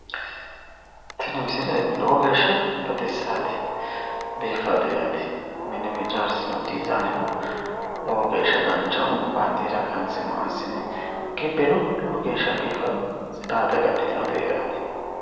tini misile lowo geeshsha baxissaate biiffaate yaate mine ijaarsinoonni dizayineno lowo geeshsha danchaho baandeera qanse maa assine gibbeno lowo geeshsha biiffanno tsidaate agadhitinote yaate.